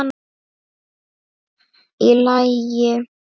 Í lagi?